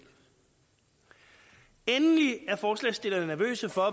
endelig er forslagsstillerne nervøse for